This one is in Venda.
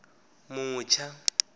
mutsha